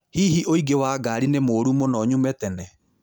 Hihi ũingĩ wa ngari ni mũru muno nyume tene